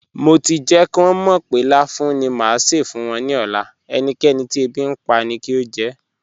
Mo ti jẹ́ kí wọn mọ̀ pé láfùún ni má ṣé fún wọn ní ọ̀lá, ẹ̀níkẹ̀nì tí èbí npa ni kí o jẹ́.